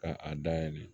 Ka a dayɛlɛ